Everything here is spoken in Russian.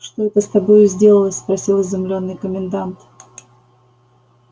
что это с тобою сделалось спросил изумлённый комендант